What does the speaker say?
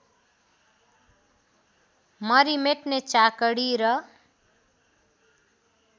मरिमेट्ने चाकडी र